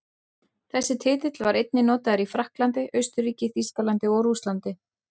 Þessi titill var einnig notaður í Frakklandi, Austurríki, Þýskalandi og Rússlandi.